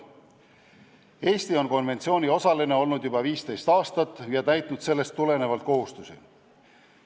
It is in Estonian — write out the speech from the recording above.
Eesti on konventsiooni osaline olnud juba 15 aastat ja täitnud sellest tulenevaid kohustusi.